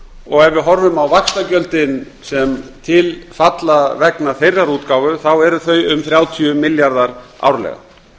ef við horfum á vaxtagjöldin sem til falla vegna þeirrar útgáfu eru þau um þrjátíu milljarðar árlega